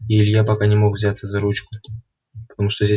и илья пока не мог взяться за ручку потому что здесь